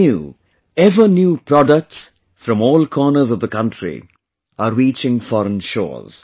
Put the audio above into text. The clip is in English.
new, ever new products from all corners of the country are reaching foreign shores